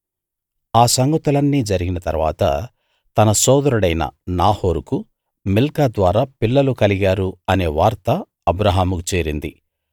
ఆ సంగతులన్నీ జరిగిన తరువాత తన సోదరుడైన నాహోరుకు మిల్కా ద్వారా పిల్లలు కలిగారు అనే వార్త అబ్రాహాముకు చేరింది